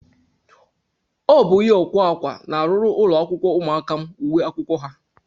Ọ bụ onye ọkwa akwa na-arụrụ ụlọakwụkwọ ụmụaka m uwe akwụkwọ ha